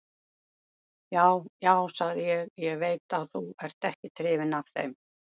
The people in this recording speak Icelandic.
Já, já, sagði ég, ég veit að þú ert ekkert hrifinn af þeim.